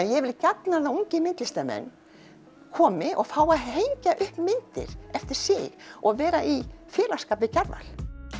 ég vil gjarnan að ungir myndlistarmenn komi og fái að hengja upp myndir eftir sig og vera í við Kjarval